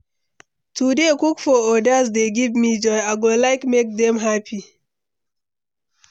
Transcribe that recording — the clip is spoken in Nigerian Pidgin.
To dey cook for odas dey give me joy; I go like make dem happy.